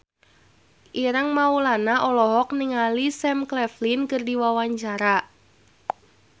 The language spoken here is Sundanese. Ireng Maulana olohok ningali Sam Claflin keur diwawancara